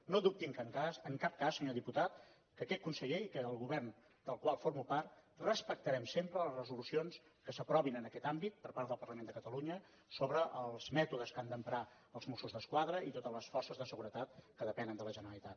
no dubti en cap cas senyor diputat que aquest conseller i que el govern del qual formo part respectarem sempre les resolucions que s’aprovin en aquest àmbit per part del parlament de catalunya sobre els mètodes que han d’emprar els mossos d’esquadra i totes les forces de seguretat que depenen de la generalitat